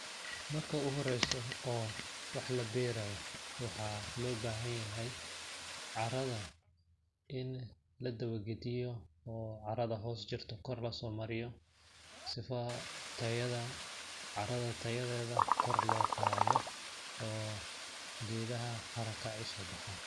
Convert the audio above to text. Marka u horeeyso oo wax la beerayo waxaa loo baahan yahay carrada in la dawa gadiyo oo carrada hoos jirto kor lasoo mariyo sifa tayada carrada tayadeeda kor loo qaado oo geedaha haraka ay usoo baxaan .